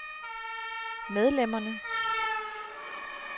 medlemmerne